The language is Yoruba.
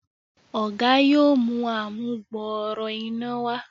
Oga yóò mú amugbooro iná wá.